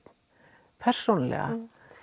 persónulega